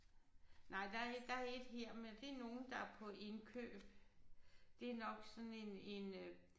Nej der er et der er et her men det er nogen der er på indkøb. Det er nok sådan en en øh